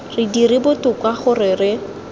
re dire botoka gore re